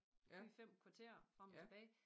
4 5 kvarter frem og tilbage